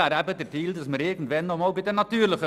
Dabei haben wir geholfen und helfen immer noch.